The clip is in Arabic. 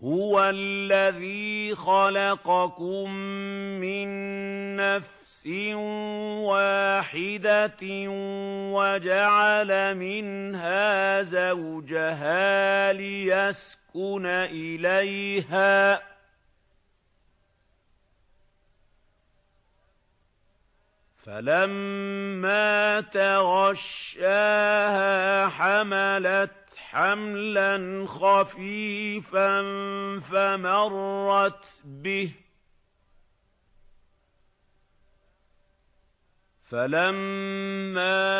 ۞ هُوَ الَّذِي خَلَقَكُم مِّن نَّفْسٍ وَاحِدَةٍ وَجَعَلَ مِنْهَا زَوْجَهَا لِيَسْكُنَ إِلَيْهَا ۖ فَلَمَّا تَغَشَّاهَا حَمَلَتْ حَمْلًا خَفِيفًا فَمَرَّتْ بِهِ ۖ فَلَمَّا